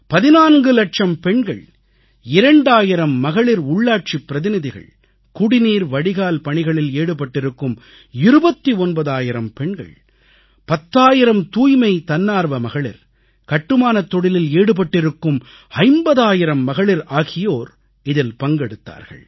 14 லட்சம் பெண்கள் 2000 மகளிர் உள்ளாட்சிப் பிரதிநிதிகள் குடிநீர் வடிகால் பணிகளில் ஈடுபட்டிருக்கும் 29000 பெண்கள் 10000 தூய்மை தன்னார்வ மகளிர் கட்டுமானத் தொழிலில் ஈடுபட்டிருக்கும் 50000 மகளிர் ஆகியோர் இதில் பங்கெடுத்தார்கள்